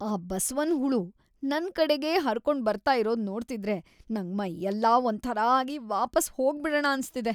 ಆ ಬಸವನ್ ಹುಳು ನನ್ ಕಡೆಗೇ ಹರ್ಕೊಂಡ್ ಬರ್ತಾ ಇರೋದ್‌ ನೋಡ್ತಿದ್ರೆ ನಂಗ್‌ ಮೈಯೆಲ್ಲ ಒಂಥರಾ ಆಗಿ ವಾಪಸ್‌ ಹೋಗ್ಬಿಡಣ ಅನ್ಸ್ತಿದೆ.